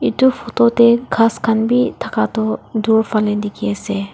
etu photo te khas khan bi thaka toh dur phane dikhi ase.